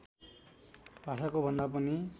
भाषाको भन्दा पनि